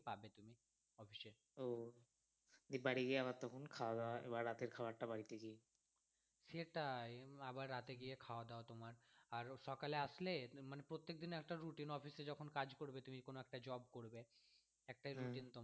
দিয়ে বাড়ি গিয়ে আবার তখন আবার খাওয়া দাওয়া বা রাতের খাবারটাবার সেটাই আবার রাতে গিয়ে খাওয়া দাওয়া তোমার আর সকালে আসলে মানে প্রত্যেকদিন একটা routineoffice এ যখন কাজ করবে তুমি কোন একটা job করবে একটাই routine তোমার